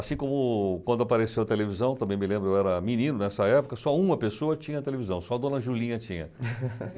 Assim como quando apareceu a televisão, também me lembro, eu era menino nessa época, só uma pessoa tinha televisão, só a dona Julinha tinha.